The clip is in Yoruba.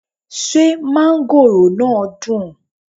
Ṣé mángóròò náà dùn?